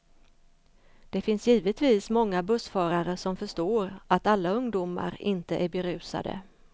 Det finns givetvis många bussförare som förstår att alla ungdomar inte är berusade.